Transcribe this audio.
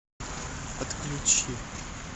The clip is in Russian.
отключи